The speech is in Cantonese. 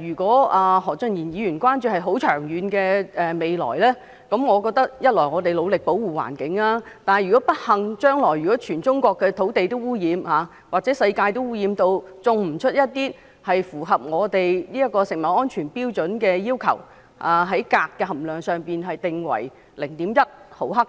如果何俊賢議員關注的是很長遠的未來，我認為一方面我們固然要很努力地保護環境，但如果不幸地，將來全中國的土地均受到污染，或世界也污染至不能種植符合我們這食物安全標準要求的食物，即鎘含量上限為每公斤 0.1 毫克，